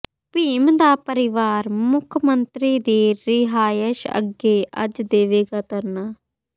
ਭੀਮ ਦਾ ਪਰਿਵਾਰ ਮੁੱਖ ਮੰਤਰੀ ਦੀ ਰਿਹਾਇਸ਼ ਅੱਗੇ ਅੱਜ ਦੇਵੇਗਾ ਧਰਨਾ